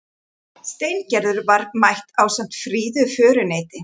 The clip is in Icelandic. Steingerður var mætt ásamt fríðu föruneyti.